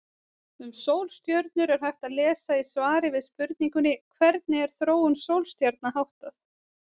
Um sólstjörnur er hægt að lesa í svari við spurningunni Hvernig er þróun sólstjarna háttað?